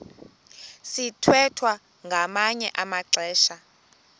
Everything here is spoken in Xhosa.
sithwethwa ngamanye amaxesha